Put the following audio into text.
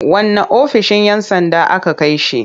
Wanne ofishin 'yan sanda aka kai shi.